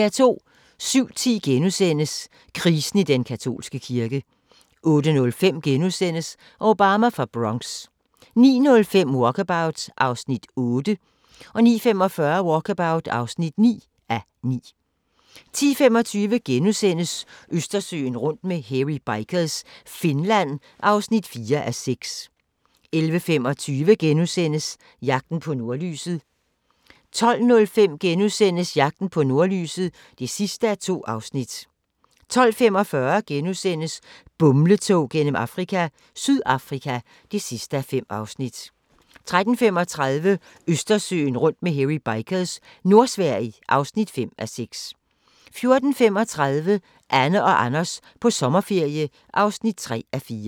07:10: Krisen i den katolske kirke * 08:05: Obama fra Bronx * 09:05: Walkabout (8:9) 09:45: Walkabout (9:9) 10:25: Østersøen rundt med Hairy Bikers – Finland (4:6)* 11:25: Jagten på nordlyset * 12:05: Jagten på nordlyset (2:2)* 12:45: Bumletog gennem Afrika – Sydafrika (5:5)* 13:35: Østersøen rundt med Hairy Bikers – Nordsverige (5:6) 14:35: Anne og Anders på sommerferie (3:4)